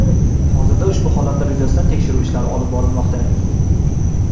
Hozirda ushbu holatlar yuzasidan tekshiruv ishlari olib borilmoqda.